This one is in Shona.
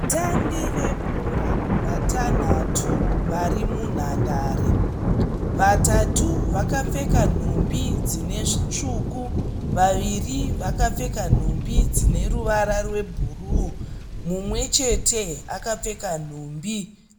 Vatambi vebhora vatanhatu vari munhandare, vatatu vakapfeka nhumbi dzine zvitsvuku, vaviri vakapfeka nhumbi dzine ruvara rwebhuruu mumwechete akapfeka nhumbi